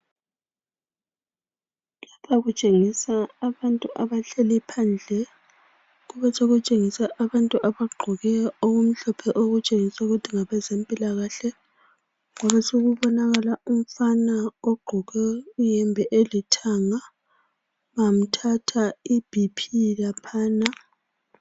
Lapha kutshengisa abantu abahleli phandle kube sokutshengisa abantu abagqoke okumhlophe okutshengisa ukuthi ngabantu bezempilakahle kwabesokubonakala umfana ogqoke iyembe elithanga bamthatha ibhiphi laphana.